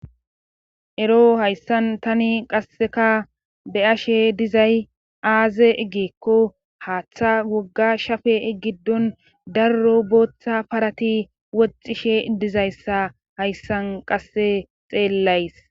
Ero hayssan tani qasseka be ashe dizay aaze eggeekko haaththa wogga shafe eggiddon darro booththa parati woxxishe idizayssa hayssan qasse xeellays.